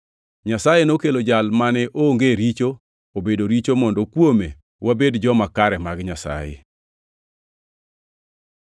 Nyasaye noketo Jal mane onge richo obedo richo mondo kuome wabed joma kare mag Nyasaye.